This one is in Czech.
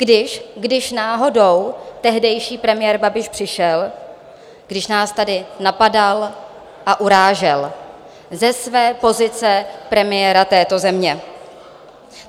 Když náhodou tehdejší premiér Babiš přišel, když nás tady napadal a urážel ze své pozice premiéra této země.